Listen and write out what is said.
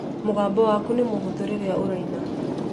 Mũgambo waku nĩ mũhũthũ rĩrĩa ũraina